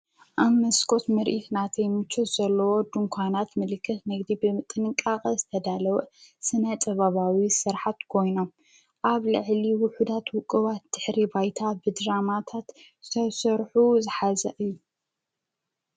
ኣብ መስኮት ምርኢት ናተይ ምቾት ዘለዎ ድንኳናት ምልክት ንግዲ ብጥንቃቐ ዝተዳለወ ስነ ጥበባዊ ስርሓት ኮይኖም ኣብ ልዕሊ ውሑዳት ውቕባት ድሕሪ ባይታ ብድራማታት ዝተሰርሑ ዝሓዛ እዩ።